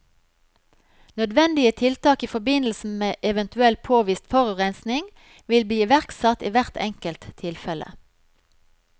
Nødvendige tiltak i forbindelse med eventuell påvist forurensning vil bli iverksatt i hvert enkelt tilfelle.